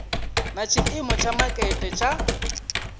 na tshiimo tsha makete tsha